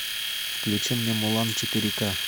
включи мне мулан четыре ка